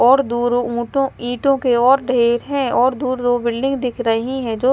और दूर ऊँटों ईंटों के और ढेर है और दूर दूर बिल्डिंग दिख रही हैं जो --